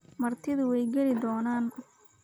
Martidu way geli doonaan